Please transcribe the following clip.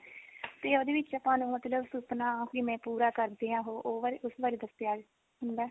ਤੇ ਉਹਦੇ ਵਿੱਚ ਆਪਾਂ ਨੂੰ ਮਤਲਬ ਸੁਪਨਾ ਕਿਵੇਂ ਪੂਰਾ ਕਰਦੇ ਆ ਉਹ ਇਸ ਬਾਰ ਇਸ ਬਾਰੇ ਦੱਸਿਆ ਹੁੰਦਾ